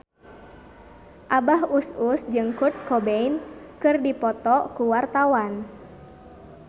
Abah Us Us jeung Kurt Cobain keur dipoto ku wartawan